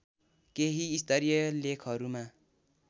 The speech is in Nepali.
केही स्तरीय लेखहरूमा